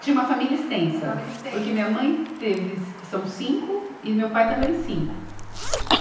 Tinha uma família extensa. Uma família extensa. Porque minha mãe teve, são cinco e meu pai também cinco.